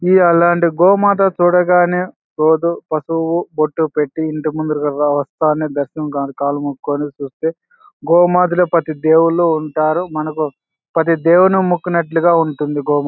గోమాత చూడగానే పసుపు బొట్టు పెట్టి ఇంటి ముందుకి వచ్చి దర్శనం మొక్కుకొని చుస్తే గోమాతలో ప్రతి దేవుళ్ళు ఉంటారు. మనకు ప్రతి దేవుని మొక్కునట్టుగా ఉంటుంది గోమాతన--